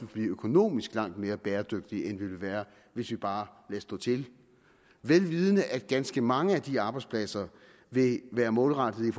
blive økonomisk langt mere bæredygtige end vi vil være hvis vi bare lader stå til vel vidende at ganske mange af de arbejdspladser vil være målrettet